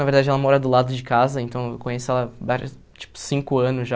Na verdade, ela mora do lado de casa, então eu conheço ela vários há, tipo, cinco anos já.